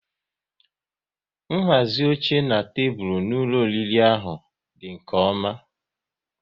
Nhazi oche na tebụl nri n'ụlọ oriri ahụ dị nke ọma